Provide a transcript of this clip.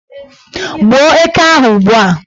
Gbuo eke ahụ ugbua!